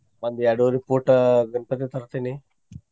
ಒಂದ್ ಎರಡುವರಿ foot ಗಣಪತಿ ತರ್ತೆನಿ.